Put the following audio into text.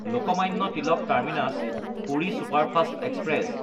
Lokmanya Tilak টাৰ্মিনাছ–পুৰি superfast express